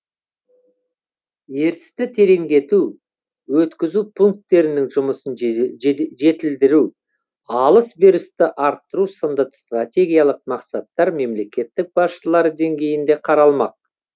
ертісті тереңдету өткізу пунктерінің жұмысын жетілдіру алыс берісті арттыру сынды стратегиялық мақсаттар мемлекетті басшылары деңгейінде қаралмақ